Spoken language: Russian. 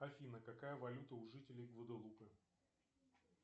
афина какая валюта у жителей гваделупы